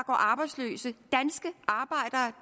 arbejdsløse